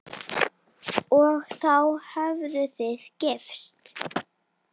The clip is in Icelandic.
Og þá hafið þið gifst?